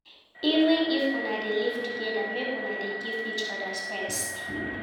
Even if una dey live togeda, make una dey give each oda space.